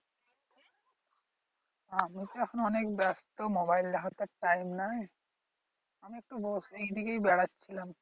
আমি তো এখন অনেক ব্যাস্ত মোবাইল দেখার তো আর time নাই আমি একটু ওই দিকেই বেড়াচ্ছিলাম